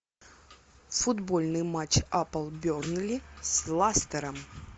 футбольный матч апл бернли с лестером